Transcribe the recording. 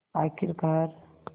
आख़िरकार